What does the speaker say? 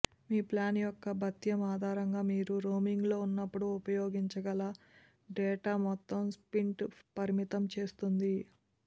మీ plan యొక్క భత్యం ఆధారంగా మీరు రోమింగ్లో ఉన్నప్పుడు ఉపయోగించగల డేటా మొత్తం స్ప్రింట్ పరిమితం చేస్తుంది